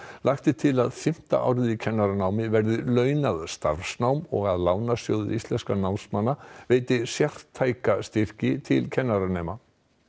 lagt er til að fimmta árið í kennaranámi verði launað starfsnám og að Lánasjóður íslenskra námsmanna veiti sértæka styrki til kennaranema